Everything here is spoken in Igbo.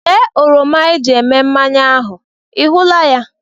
Lee oroma eji eme mmanya ahụ, ị hụla ya?